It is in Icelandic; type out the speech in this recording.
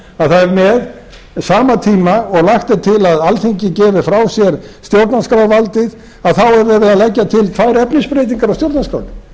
það er með sama tíma og lagt er til að alþingi gefi frá sér stjórnarskrárvaldið að þá er verið að leggja til tvær efnisbreytingar á stjórnarskránni